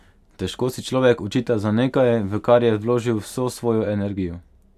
Težko si človek očita za nekaj, v kar je vložil vso svojo energijo.